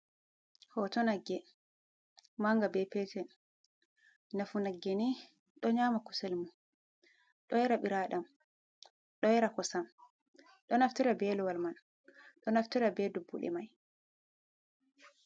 Hooto nagge maunge be petel nafu naggeni do nyama kuselmun, do yara biraɗam, do yara kosam, do naftora beluwal man, do naftora be dubbude man.